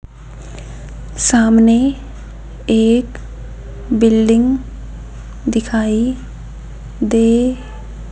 सामने एक बिल्डिंग दिखाई दे --